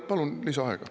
Palun lisaaega.